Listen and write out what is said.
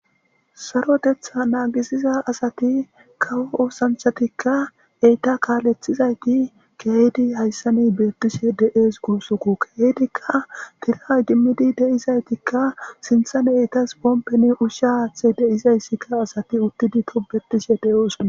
Saroteththa nagisiza asati kawo oosanchatika eta kaletidaysati kehid haysan betishe dee's gusako ubatika kushe tiran idimidi sintththa etas pompeka ushsha haththa